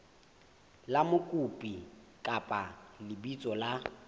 la mokopi kapa lebitso la